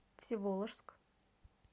всеволожск